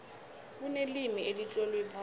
kunelimi elitlolwe phasi